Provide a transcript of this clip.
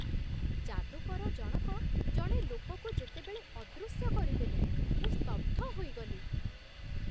ଯାଦୁକର ଜଣକ ଜଣେ ଲୋକକୁ ଯେତେବେଳେ ଅଦୃଶ୍ୟ କରିଦେଲେ, ମୁଁ ସ୍ତବ୍ଧ ହୋଇଗଲି।